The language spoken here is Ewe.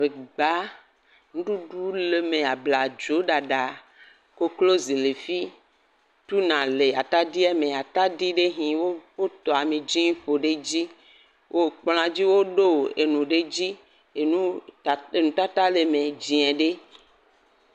Ŋɛgba, nuɖuɖu le eme, ablazo ɖaɖa, koklozi le efi, tuna le atadi eme. Atadi ɖe hɛ wo, woƒo ame dzɛ ƒo ɖe eɖzi. Wokplɔa dzi woɖo nu ɖe edzi. Enu, enu tata le eme dzɛ ɖe.